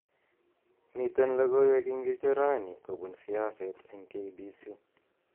Miten logoiwek ingircho raini kobun siaset eng K.B.C